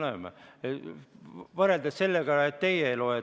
Loeme, loeme, teie ei loe.